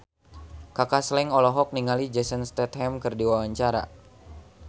Kaka Slank olohok ningali Jason Statham keur diwawancara